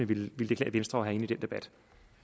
ville klæde venstre at med i den debat